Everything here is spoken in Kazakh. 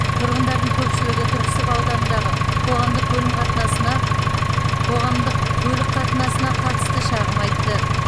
тұрғындардың көпшілігі түрксіб ауданындағы қоғамдық көлім қатынасына қоғамдық көлік қатынасына қатысты шағым айтты